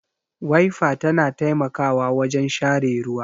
Waifa ta na taimakawa wajen share ruwa